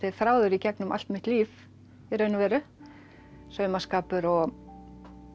þráður í gegnum allt mitt líf í raun og veru saumaskapur og